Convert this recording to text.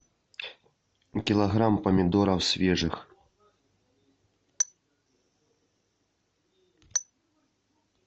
килограмм помидоров свежих